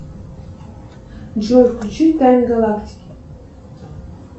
джой включи тайны галактики